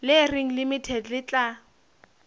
le reng limited le tla